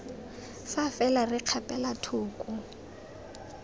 fa fela re kgapela thoko